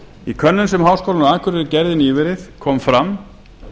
í könnun sem háskólinn á akureyri gerði nýverið kom fram